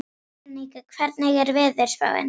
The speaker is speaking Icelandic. Veronika, hvernig er veðurspáin?